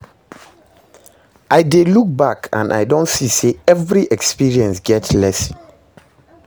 I dey look back and I don see say every experience get lesson